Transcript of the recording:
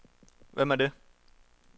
Hvem er det